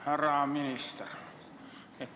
Härra minister!